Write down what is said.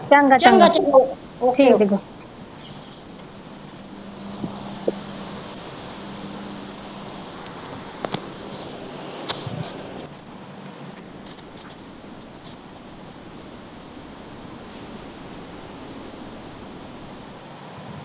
ਚੰਗਾ ਚੰਗਾ ਓਕੇ